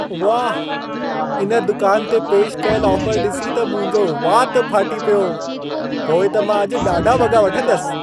वाह! इन दुकान ते पेश कयल ऑफर ॾिसी त मुंहिंजो वात फ़ाटी पियो! पोइ त मां अॼु ॾाढा वॻा वठंदसि।